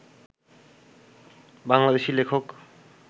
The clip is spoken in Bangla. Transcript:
বাংলাদেশী লেখক